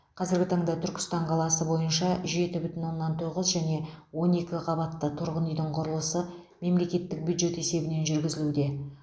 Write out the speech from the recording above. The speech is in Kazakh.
қазіргі таңда түркістан қаласы бойынша жеті бүтін оннан тоғыз және он екі қабатты тұрғын үйдің құрылысы мемлекеттік бюджет есебінен жүргізілуде